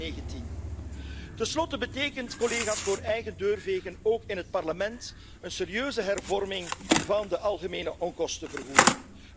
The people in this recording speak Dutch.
2019? Ten slotte betekent voor eigen deur vegen ook in het Parlement een serieuze hervorming van de algemene onkostenvergoeding.